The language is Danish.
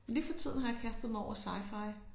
Lige for tiden har jeg kastet mig over scifi